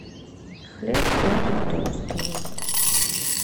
хлеб белый тостовый